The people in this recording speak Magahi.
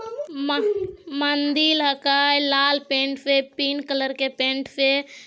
म मंदिर हके लाल पेंट से पिंक कलर के पेन्ट से --